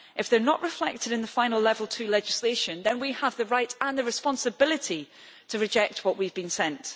If they are not reflected in the final level 2 legislation, then we have the right and the responsibility to reject what we have been sent.